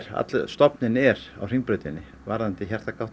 allur stofninn er á Hringbrautinni varðandi